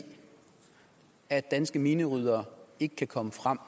at danske mineryddere ikke kan komme frem